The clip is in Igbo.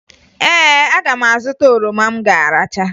Ee, aga m azụta oroma m ga-aracha